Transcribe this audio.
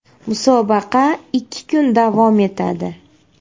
Musobaqa ikki kun davom etadi.